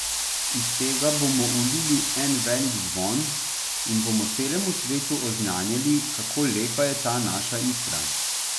Iz tega bomo ulili en velik zvon in bomo celemu svetu oznanjali, kako lepa je ta naša Istra.